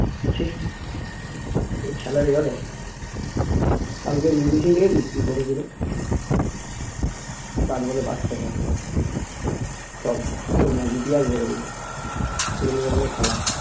ছি এ খেলা হলো কালকে রিংকু সিং দেখেছিস কি করে ছিলো পাঁচ ball এ পাঁচটা ছয় পুরো না ইতিহাস গড়ে দিলো এগুলোকেই বলে খেলা